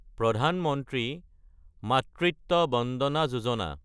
প্ৰধান মন্ত্ৰী মাতৃত্ব বন্দনা যোজনা